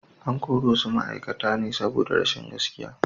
An kori wasu ma’aikata ne saboda rashin gaskiya.